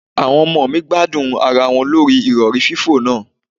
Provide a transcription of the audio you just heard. Àwọn ọmọ mi gbádùn ara wọn lórí Ìrọ̀rí fífò náà.